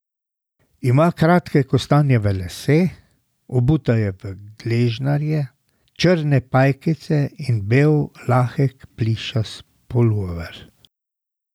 Ima kratke kostanjeve lase, obuta je v gležnarje, črne pajkice in bel lahek plišast pulover.